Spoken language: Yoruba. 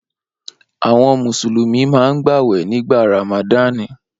Awọn Mùsùlùmí máa ń gbàwẹ̀ nígbà Ràmàdani